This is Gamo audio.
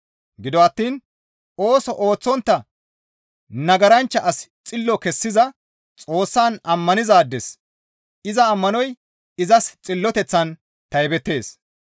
Gido attiin ooso ooththontta nagaranchcha asi xillo kessiza Xoossan ammanizaades iza ammanoy izas xilloteththan taybettees.